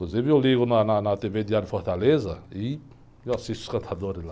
Inclusive eu ligo na na tê-vê Diário Fortaleza e eu assisto os cantadores lá.